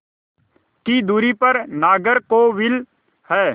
की दूरी पर नागरकोविल है